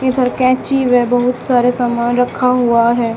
इधर कैंची व बहुत सारे सामान रखा हुआ है।